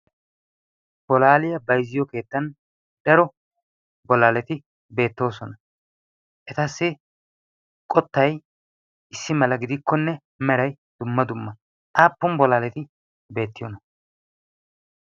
bolaaliyaa bayzziyo keettan daro bolaaleti beettoosona etassi qottay issi mala gidikkonne meray dumma dumma xaappun bolaaleti beettiyoona